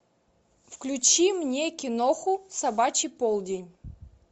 включи мне киноху собачий полдень